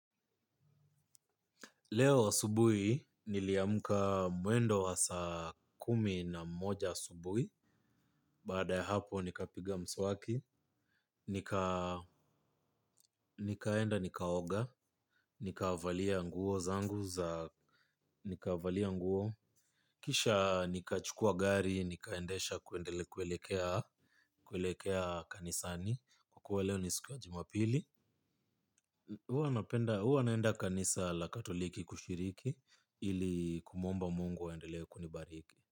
Leo asubuhi niliamka mwendo wa saa kumi na moja asubuhi, baada ya hapo nikapiga mswaki, nikaenda nikaoga, nikavalia nguo zangu za, nikavalia nguo, kisha nikachukua gari, nikaendesha kuelekea kanisani, kwa kuwa leo ni si ya jumapili. Huwa naenda kanisa la katoliki kushiriki ili kumwomba mungu aendelee kunibariki.